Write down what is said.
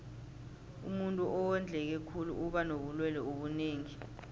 umuntuu owondleke khulu uba nobulelwe obunengi